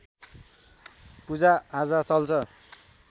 पूजाआजा चल्छ